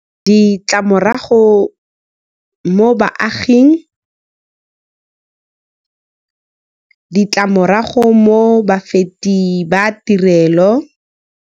Ditlamorago mo baaging, ditlamorago mo bafeti ba tirelo.